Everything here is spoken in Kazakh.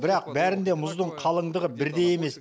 бірақ бәрінде мұздың қалыңдығы бірдей емес